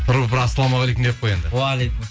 тұрып бір ассалаумағалейкум деп қой енді уағалейкумассалам